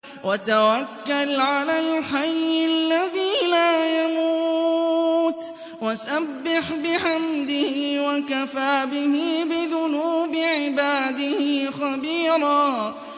وَتَوَكَّلْ عَلَى الْحَيِّ الَّذِي لَا يَمُوتُ وَسَبِّحْ بِحَمْدِهِ ۚ وَكَفَىٰ بِهِ بِذُنُوبِ عِبَادِهِ خَبِيرًا